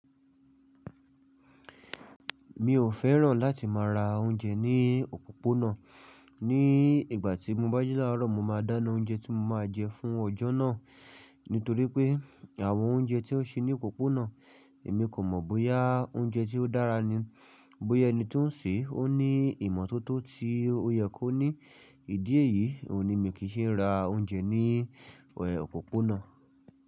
Mi ò fẹ́ràn láti má ra oúnjẹ ní òpópónà. Ní ìgbà tí mo bá jilárọ̀, mo máa dáná oúnjẹ tí mo máa jẹ fún ọjọ́ náà. Nítorí pé àwọn oúnjẹ tí won ṣe ní òpópónà, èmi kò mọ̀ bóyá oúnjẹ tí ó dára ni, bóyá ẹni tí ó ń sè é ó ní ìmọ́tótó tí ó yẹ kó ní. Ìdí èyí ni mi kì í ṣe ń ra oúnjẹ ní òpópónà.